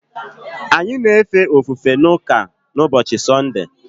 Anyị na-efe ofufe n’ụka n’ụbọchị Sọnde.